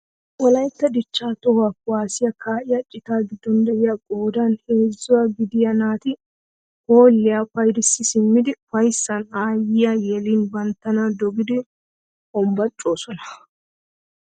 Wolaytta dichchaa toho kuwaasiyaa ka'iyaa citaa giddon de'iyaa qoodan heezzaa gidiyaa naati hoolliyaa paydissi simmidi ufayssan ayiyaa yelin banttana dogidi honbocoosona.